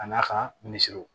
A n'a ka minisiriw